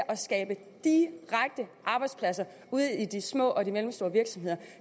at skabe arbejdspladser ude i de små og mellemstore virksomheder